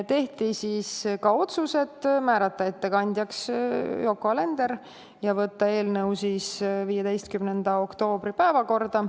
Tehti ka otsused: määrata ettekandjaks Yoko Alender ja võtta eelnõu 15. oktoobri päevakorda.